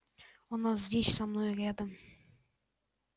она здесь со мной рядом